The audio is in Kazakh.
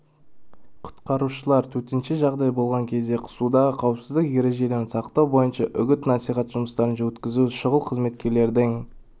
құтқарушылар төтенше жағдай болған кезде судағы қауіпсіздік ережелерін сақтау бойынша үгіт-насихат жұмыстарын өткізді шұғыл қызметтердің